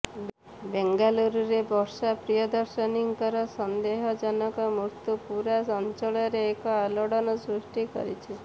ବେଙ୍ଗାଲୁରରେ ବର୍ଷା ପ୍ରିୟଦର୍ଶିନୀଙ୍କର ସନ୍ଦେହ ଜନକ ମୃତ୍ୟୁ ପୁରା ଅଞ୍ଚଳରେ ଏକ ଆଲୋଡ଼ନ ସୃଷ୍ଟି କରିଛି